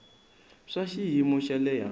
swa xiyimo xa le hansi